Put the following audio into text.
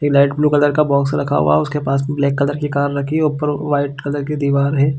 एक light blue colour का box रखा हुआ है और उसके पास में ब्लैक कलर की कार रखी ऊपर वाइट कलर की दिवार है।